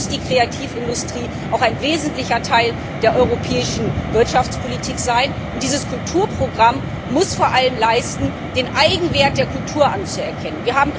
Deswegen muss die Kreativindustrie auch ein wesentlicher Teil der europäischen Wirtschaftspolitik sein, und dieses Kulturprogramm muss vor allem leisten, den Eigenwert der Kultur anzuerkennen.